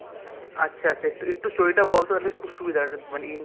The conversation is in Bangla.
আচ্ছা আচ্ছা একটু story টা বলত তাহলে খুব সুবিধা হয় মানে